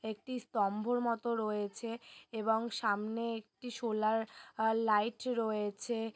একটি স্তম্ভর মতো রয়েছে এবং সামনে একটি সোলার আ লাইট রয়েছে।